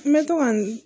N bɛ to ka n